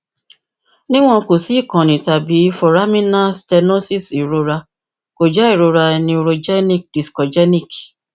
niwon ko si ikanni tabi foraminal stenosis irora ko jẹ irora neurogenic discogenic